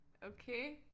Okay!